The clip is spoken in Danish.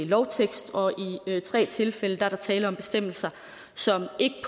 lovtekst og i tre tilfælde er der tale om bestemmelser som ikke